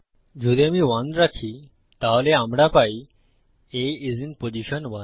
যদি আমি 1 রাখি তাহলে আমরা পাই A আইএস আইএন পজিশন 1